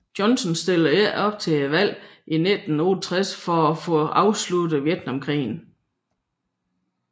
Johnson stillede ikke op til valget i 1968 for at få afsluttet Vietnamkrigen